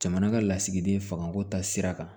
Jamana ka lasigiden fanga ko ta sira kan